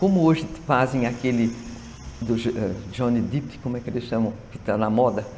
Como hoje fazem aquele do Johnny Depp, como é que ele chama, que está na moda,